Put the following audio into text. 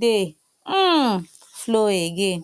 dey um flow again